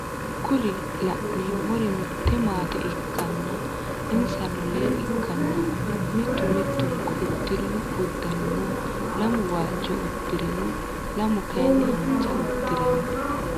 Kuri laneemori mitte maate ikkanna insano lee ikkanna mittu mittunkku udirino uduunino lamu waajo udire no lamu kaayiini haanjja uddire no